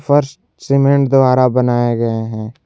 फर्श सीमेंट द्वारा बनाया गया है।